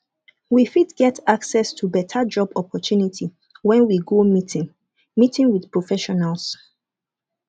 we fit get access to better job opportunity when we go meeting meeting with professionals